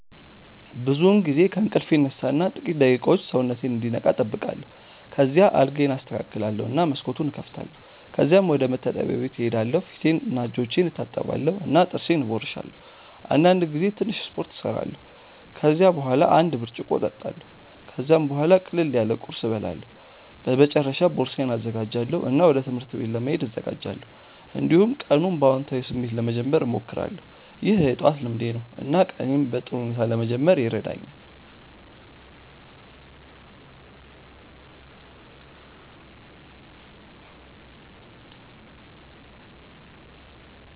ብዙውን ጊዜ ከእንቅልፌ እነሳ እና ጥቂት ደቂቃዎች ሰውነቴን እንዲነቃ እጠብቃለሁ። ከዚያ አልጋዬን አስተካክላለሁ እና መስኮቱን እከፍታለሁ። ከዚያም ወደ መታጠቢያ ክፍል እሄዳለሁ ፊቴንና እጆቼን እታጠባለሁ እና ጥርሴን እቦርሳለሁ። አንዳንድ ጊዜ ትንሽ ስፖርት እሰራለሁ። ከዚያ በኋላ አንድ ብርጭቆ እጠጣለሁ። ከዚያም ቡሃላ ቅለል ያለ ቁርስ እበላለሁ። በመጨረሻ ቦርሳዬን እዘጋጃለሁ እና ወደ ትምህርት ቤት ለመሄድ እዘጋጃለሁ። እንዲሁም ቀኑን በአዎንታዊ ስሜት ለመጀመር እሞክራለሁ። ይህ የጠዋት ልምዴ ነው እና ቀኔን በጥሩ ሁኔታ ለመጀመር ይረዳኛል።